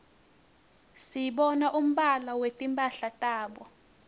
sibona umbala wetimphala tabo